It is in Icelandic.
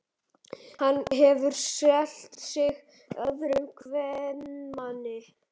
Hann hefur selt sig öðrum kvenmanni.